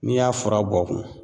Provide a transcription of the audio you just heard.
N'i y'a fura bɔ kun